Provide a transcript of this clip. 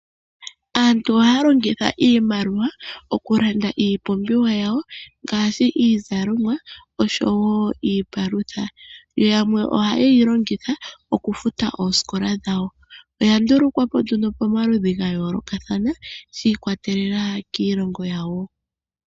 Aantu ohaya longitha iimaliwa okulanda iipumbiwa yawo ngaashi, iizalomwa osho wo iipalutha, yo yamwe ohayeyi longitha okufuta oosikola dhawo. Oyandulukwa po nduno pomaludhi gayoolokathana shiikwatelela kiilongo yawo.